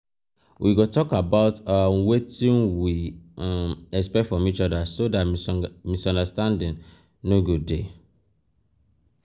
we go tok about um wetin we um expect from each oda so misunderstanding no um go dey.